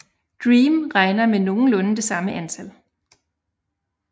DREAM regner med nogenlunde det samme antal